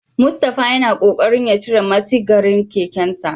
Mustapha yana kokarin ya cire mitigarin kekensa.